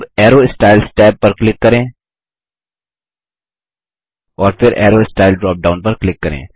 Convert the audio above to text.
अब arrow styles tab पर click करें और फिर अरो स्टाइल ड्रॉप डाउन पर क्लिक करें